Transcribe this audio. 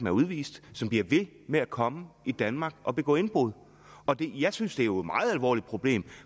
er udvist som bliver ved med at komme i danmark og begå indbrud jeg synes jo er meget alvorligt problem